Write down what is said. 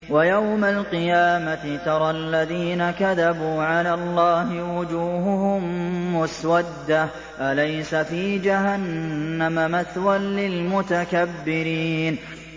وَيَوْمَ الْقِيَامَةِ تَرَى الَّذِينَ كَذَبُوا عَلَى اللَّهِ وُجُوهُهُم مُّسْوَدَّةٌ ۚ أَلَيْسَ فِي جَهَنَّمَ مَثْوًى لِّلْمُتَكَبِّرِينَ